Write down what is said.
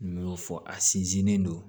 U y'o fɔ a sinzin don